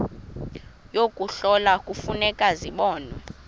yokuhlola kufuneka zibonwe